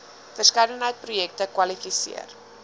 verskeidenheid projekte kwalifiseer